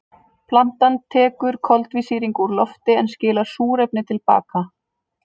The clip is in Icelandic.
Plantan tekur koltvísýring úr lofti en skilar súrefni til baka.